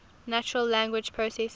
natural language processing